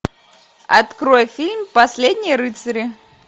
открой фильм последние рыцари